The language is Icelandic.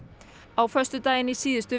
á föstudaginn í síðustu